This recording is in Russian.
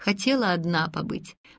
хотела одна побыть